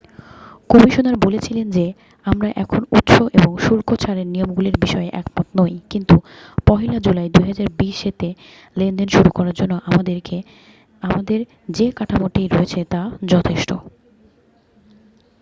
"Commissioner বলেছিলেন যে "আমরা এখনও উৎস এবং শুল্ক ছাড়ের নিয়মগুলির বিষয়ে একমত নই কিন্তু 1'লা জুলাই 2020 তে লেনদেন শুরু করার জন্য আমাদের যে কাঠামোটি রয়েছে তা যথেষ্ট""।